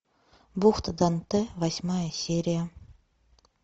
бухта данте восьмая серия